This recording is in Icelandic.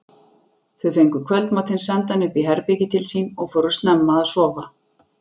Þau fengu kvöldmatinn sendan upp í herbergið til sín og fóru snemma að sofa.